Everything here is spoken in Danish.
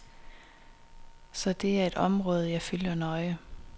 Så det er et område, jeg følger nøje.